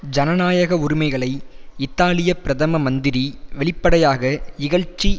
ஜனநாயக உரிமைகளை இத்தாலிய பிரதம மந்திரி வெளிப்படையாக இகழ்ச்சி